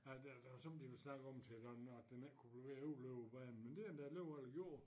At der der har sommetider været snak om flere gange at den ikke kunne blive ved at overleve banen men det har den da alligevel gjort